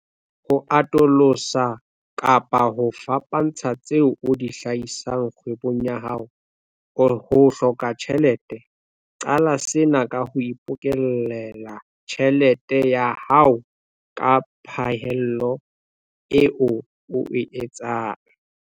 Ho atolosa kapa ho fapantsha tseo o di hlahisang kgwebong ya hao, ho hloka tjhelete. Qala sena ka ho ipokellela tjhelete ya hao ka phaello eo o e etsang.